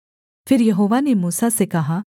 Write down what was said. फिर यहोवा ने मूसा से कहा